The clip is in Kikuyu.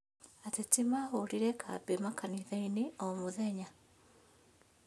Ateti maahũrire kambĩ makanitha-inĩ o mũthenya